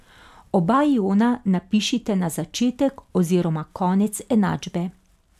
Oba iona napišite na začetek oziroma konec enačbe.